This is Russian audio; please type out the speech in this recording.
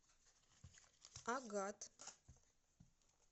агат